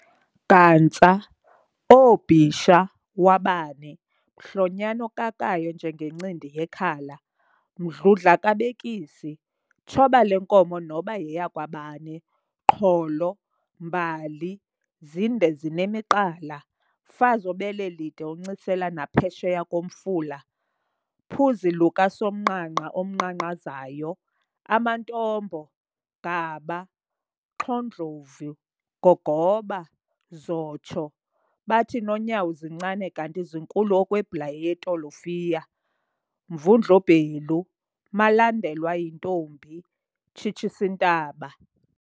Gantsa- OoBisha, Wabani, Mhlonyani okakayo njenge ncindi yekhala, Mdludla kabekisi, Tshoba lenkomo noba yeyakwabani, Qholo, Mbali, zinde zinemiqala, Mfazi obele lide oncisela naphesheya komfula, Phuzi luka somanqanqa unqanqazayo, amaNtombo, Gaba, Xho'ndlovu, Gogoba, Zotsho, Bathi Nonyawo Zincane kanti Zinkulu okwe Bhlayi yetolofiya, Mvundl'ubhelu, Malandelwa yintombi, Tshitshis'intaba,